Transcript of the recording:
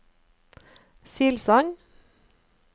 Silsand